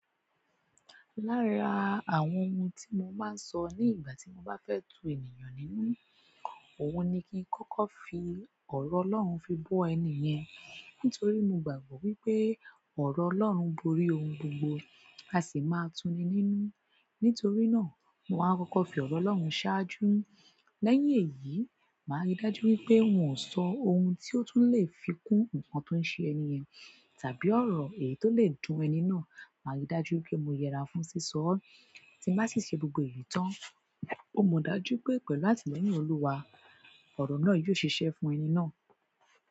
Lára àwọn ohun tí mo máa ń sọ nígbà tí mo bá fẹ́ tu ènìyàn nínú, òun ni kí n kọ́kọ́ fi ọ̀rọ̀ Ọlọ́run fi bọ́ ẹni yẹn. Nítorí mo gbàgbọ́ wípé ọ̀rọ̀ Ọlọ́run borí ohun gbogbo, a sì maa tuni nínú. Nítorí náà, mo máa ń kọ́kọ́ fi ọ̀rọ̀ Ọlọ́run ṣáájú. Lẹ́yìn èyí, màá rí dájú wípé wọn sọ ohun tí ó tún lè fi kún ǹkan tó ń ṣe ẹni yẹn tàbí ọ̀rọ̀ èyí tó lè dún ẹni náà. Màá rí dájú wípé mo yẹra fún sísọ ọ́. Tí mbá sì ṣe gbogbo èyí tán, mọ dájú pé pẹ̀lú àtìlẹ́yìn Olúwa, ọ̀rọ̀ náà yóò ṣiṣẹ́ fún ẹni náà.